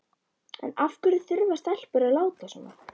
En af hverju þurfa stelpur að láta svona?